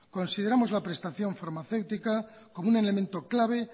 consideramos la prestación farmacéutica como un elemento clave